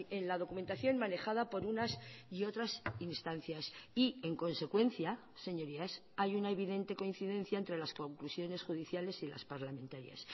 en la documentación manejada por unas y otras instancias y en consecuencia señorías hay una evidente coincidencia entre las conclusiones judiciales y las parlamentarias